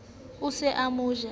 o se o mo ja